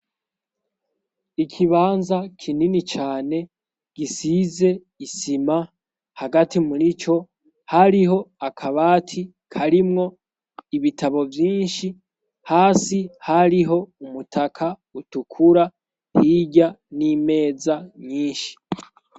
Ikibanza kinini cane gisize isima hagati murico hariho akabati karimwo ibitabo vyinshi hasi hariho umutaka utukura hirya n'imeza nyinshi